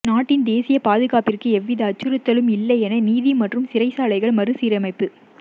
நாட்டின் தேசிய பாதுகாப்பிற்கு எவ்வித அச்சுறுத்தலும் இல்லை என நீதி மற்றும் சிறைச்சாலைகள் மறுசீரமைப்பு